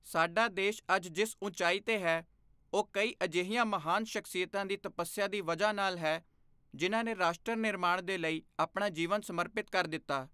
ਸਾਡਾ ਦੇਸ਼ ਅੱਜ ਜਿਸ ਉਚਾਈ ਤੇ ਹੈ, ਉਹ ਕਈ ਅਜਿਹੀਆਂ ਮਹਾਨ ਸ਼ਖਸੀਅਤਾਂ ਦੀ ਤਪੱਸਿਆ ਦੀ ਵਜ੍ਹਾ ਨਾਲ ਹੈ, ਜਿਨ੍ਹਾਂ ਨੇ ਰਾਸ਼ਟਰ ਨਿਰਮਾਣ ਦੇ ਲਈ ਆਪਣਾ ਜੀਵਨ ਸਮਰਪਿਤ ਕਰ ਦਿੱਤਾ।